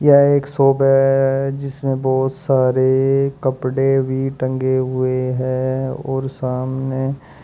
यह एक शॉप है जिसमें बहोत सारे कपड़े भी टंगे हुए हैं और सामने--